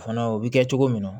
Fana o bɛ kɛ cogo min na